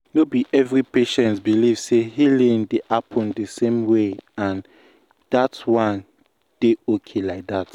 no be every patients believe say healing dey happen the same way and that one dey okay like that.